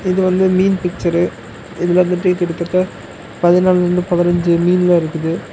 இது வந்து மீன் பிச்சரு இதுல வந்து கிட்டத்தட்ட பதனால்ருந்து பதினஞ்சு மீன்லா இருக்குது.